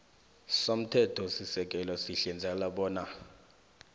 somthethosisekelo sihlinzeka bona